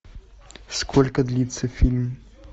сколько длится фильм